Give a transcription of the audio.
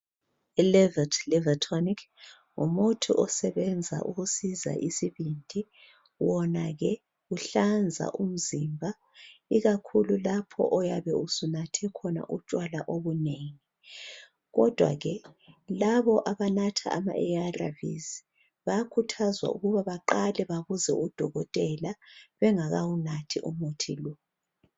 i livT liver tonic ngu, uthi osebenza ukusiza isibindi wona ke uhlanza umzimba ikkhulu lapho oyabe usunathe khona utshwala obunengi kodwa ke labo abanatha ama ARVs bayakhuthazwa ukuba abaqale babuze u dokotela bengakawunathi umuthi lo